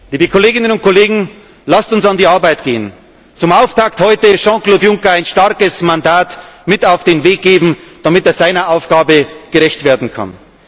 Liebe Kolleginnen und Kollegen, lasst uns an die Arbeit gehen, zum Auftakt heute Jean Claude Juncker ein starkes Mandat mit auf den Weg geben, damit er seiner Aufgabe gerecht werden